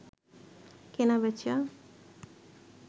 কেনাবেচা